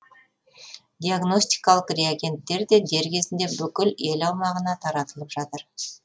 диагностикалық реагенттер де дер кезінде бүкіл ел аумағына таратылып жатыр